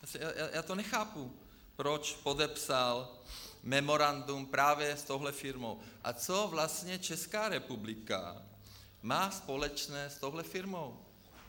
Já to nechápu, proč podepsal memorandum právě s touhle firmou a co vlastně Česká republika má společné s touhle firmou.